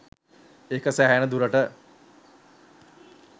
ඒක සැහෙන්න දුරට